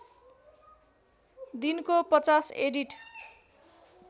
दिनको ५० एडिट